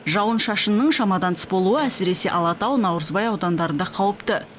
жауын шашынның шамадан тыс болуы әсіресе алатау наурызбай аудандарында қауіпті